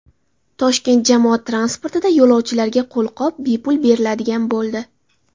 Toshkent jamoat transportida yo‘lovchilarga qo‘lqop bepul beriladigan bo‘ldi.